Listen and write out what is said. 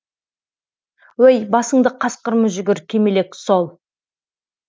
өй басыңды қасқыр мүжігір кемелек сол